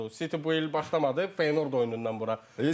City bu il başlamadı, Feyenord oyunundan bura.